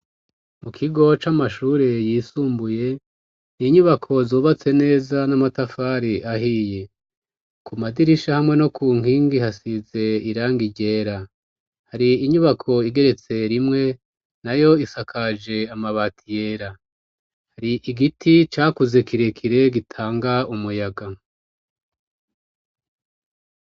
Mu kigo c'amashure yisumbuye n'inyubako zubatse neza n'amatafari ahiye ,ku madirisha hamwe no ku nkingi hasize irangi ryera hari inyubako igeretse rimwe nayo isakaje amabati yera hari igiti cakuze kirekire gitanga umuyaga.